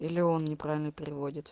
или он неправильно переводит